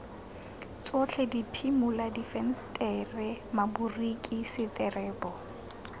tsotlhe diphimola difensetere maboriki seterebo